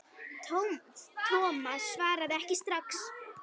Thomas svaraði ekki strax.